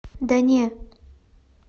да не